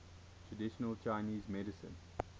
traditional chinese medicine